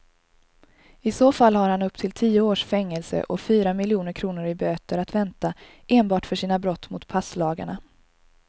I så fall har han upp till tio års fängelse och fyra miljoner kronor i böter att vänta enbart för sina brott mot passlagarna.